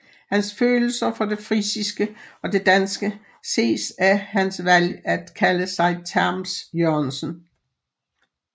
Hans følelser for det frisiske og det danske ses af hans valg at kalde sig Tams Jørgensen